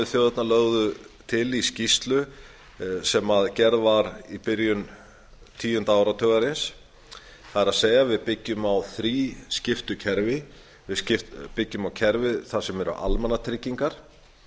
þjóðirnar lögðu til í skýrslu sem gerð var í byrjun tíunda áratugarins það er við byggjum á þrískiptu kerfi við byggjum á kerfi þar sem eru almannatryggingar